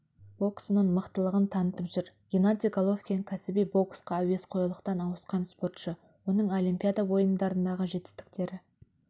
боксының мықтылығын танытып жүр геннадий головкин кәсіби боксқа әуесқойлықтан ауысқан спортшы оның олимпиада ойындарындағы жетістіктері